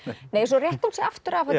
nei svo rétti hún sig aftur af og